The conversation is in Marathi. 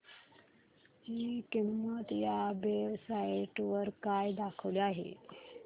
ची किंमत या वेब साइट वर काय दाखवली आहे